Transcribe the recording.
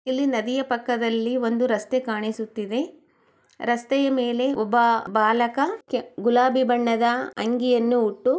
ಇಲ್ಲಿ ನದಿಯ ಪಕ್ಕದಲ್ಲಿ ಒಂದು ರಸ್ತೆ ಕಾಣಿಸುತಿದೆ ರಸ್ತೆಯ ಮೇಲೆ ಒಬ್ಬ ಬಾಲಕ ಕೆ-ಗುಲಾಬಿ ಬಣ್ಣದ--